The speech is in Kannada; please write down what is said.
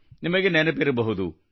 ನಿಮಗೆ ನೆನಪಿರಬಹುದು